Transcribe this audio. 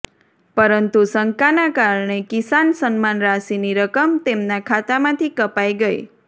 પરંતુ શંકાના કારણે કિસાન સન્માન રાશિની રકમ તેમના ખાતામાંથી કપાઇ ગઇ